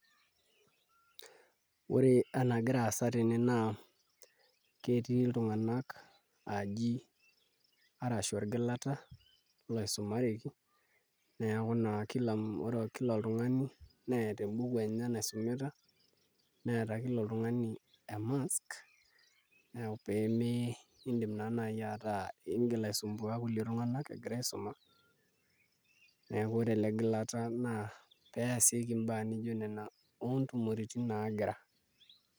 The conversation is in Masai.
Ore enagira aasa tene naa ketii iltung'anak aji arashu orgilata oisumareki neeku naa kila oltung'ani neeta embuku enye naisumita neeta kila oltung'ani emask pee meidim naa naai ataa iingil aisumbuaa kulie tung'anak egira aisuma neeku ore ele gilata naa pee easieki mbaa nijio nena oontumoreitin naagira.